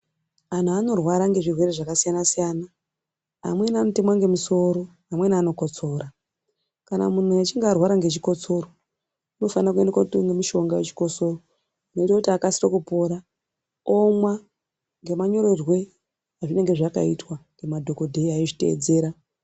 Antu anorwara ngezvirwere zvakasiyanasiyana amweni anotemwa ngemusoro amweni anokotsora . Kana muntu echinge arwara ngechikotsoro unofanire kotenge mushonga wechikotsoro unoite kuti akasike kupora omwa ngemanyorerwe azvinenge zvakaitwa ngemadhokodheya eizviteedzera.